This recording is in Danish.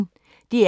DR P1